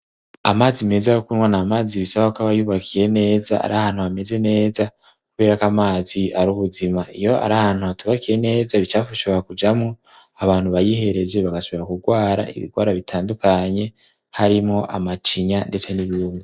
amazi meza yo kunwa n' amazi bisaba ko abayubakiye neza ,ari ahantu hameze neza ,kubera ko amazi ar'buzima ,iyo ari ahantu hatubakiye neza ibicafu bishobora kujamwo ,abantu bayihereje bagashobora kurwara ibigwara bitandukanye, harimwo amacinya ndetse n'izindi.